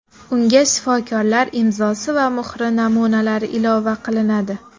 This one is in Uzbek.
Unga shifokorlar imzosi va muhri namunalari ilova qilinadi.